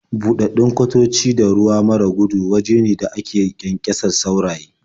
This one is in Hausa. Buɗaɗɗun kwatoci da ruwa mara gudu waje ne da ake ƙyanƙyasar sauraye.